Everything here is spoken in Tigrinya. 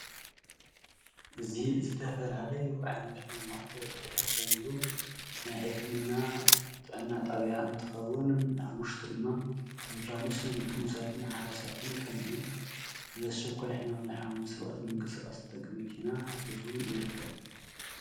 እዚ ዝተፈላለዩ ዓይነት ሕማማት ዝሕከምሉ ናይ ሕክምና ጥዕና ጣብያ እንትኸውን ኣብ ውሽጡ ድማ አምቡላኑስን ጥኑሳን ሓራሳትን ከምኡ ውን ብኣስቸኳይ ሕማም ዝሓመሙ ሰባት ንምንቅስቃስ ዝጠቅም መኪና ሒዙ ይርከብ፡፡